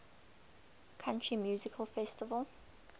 country music festival